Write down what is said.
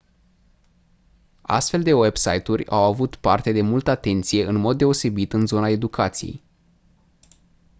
astfel de website-uri au avut parte de multă atenție în mod deosebit în zona educației